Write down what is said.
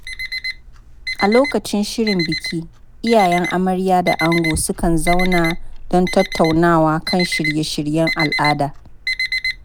A lokacin shirin biki, iyayen amarya da ango sukan zauna don tattaunawa kan shirye-shiryen al'ada.